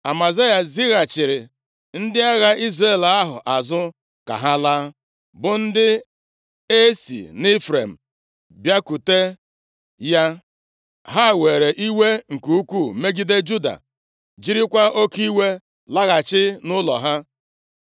Amazaya zighachiri ndị agha Izrel ahụ azụ ka ha laa, bụ ndị a si nʼIfrem bịakwute ya. Ha were iwe nke ukwuu megide Juda, jirikwa oke iwe laghachi nʼụlọ ha.